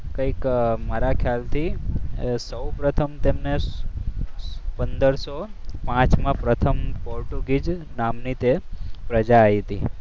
કંઈક મારા ખ્યાલથી સૌપ્રથમ તેમને પંદરસો પાંચમા પ્રથમ પોર્ટુગી હતી.